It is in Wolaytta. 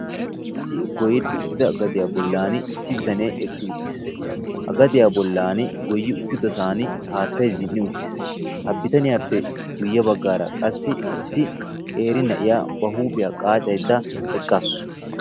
Issi goyetti uttida gadiyaa bollani issi biitaane eqqi uttiis. Ha gadiyaa bollani goyye uttidosani haattaay zin'i uttiis. Ha biitaniyappe guyye baggara qassi issi qeeri na'iya ba huuphiya qaccaydda eqqasu.